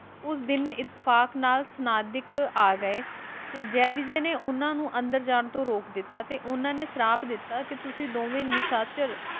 ਉਸ ਦਿਨ ਇਤੇਫ਼ਾਕ ਨਾਲ ਸਨਾਦਿਕ ਆਗਏ ਤੇ ਜੈ - ਵਿਜੈ ਨੇ ਉਹਨਾ ਨੂੰ ਅੰਦਰ ਜਾਣ ਤੋਂ ਰੋਕ ਦਿੱਤਾ ਸੀ ਤੇ ਉਹਨਾ ਨੇ ਸ਼ਰਾਪ ਦਿੱਤਾ ਕਿ ਤੁਸੀਂ ਦੋਵੇਂ ਨਿਸ਼ਚਰ